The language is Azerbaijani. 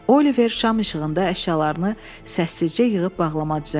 Oliver şam işığında əşyalarını səssizcə yığıb bağlama düzəltdi.